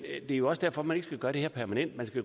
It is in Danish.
det er jo også derfor man ikke skal gøre det her permanent men